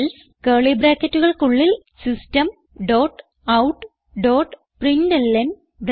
else curly ബ്രാക്കറ്റുകൾക്കുള്ളിൽ system dot out dot println